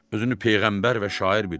Özünü peyğəmbər və şair bilir.